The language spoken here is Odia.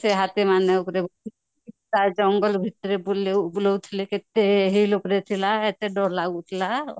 ସେ ହାତୀ ମାନଙ୍କୁ ପ୍ରାୟ ଜଙ୍ଗଲ ଭିତରେ ବୁଲଉ ବୁଲଉ ଥିଲେ କେତେ ହ୍ୱିଲୁକ ରେ ଥିଲା ଦରଲାଗୁଥିଲା